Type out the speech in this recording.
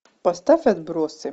поставь отбросы